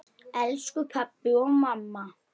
Elsku pabbi og mamma.